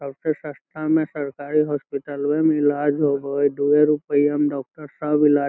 सबसे सस्ता में सरकारी हॉस्पिटल वे में इलाज होवये दुए रुपया में डॉक्टर साहब इलाज़ --